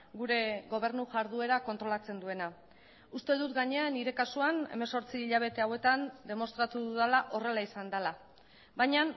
gure gobernu jarduera kontrolatzen duena uste dut gainera nire kasuan hemezortzi hilabete hauetan demostratu dudala horrela izan dela baina